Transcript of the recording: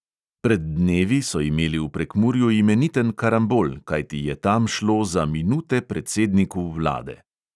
Pred dnevi so imeli v prekmurju imeniten karambol, kajti je tam šlo za minute predsedniku vlade.